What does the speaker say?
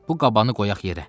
Bu qabanı qoyaq yerə.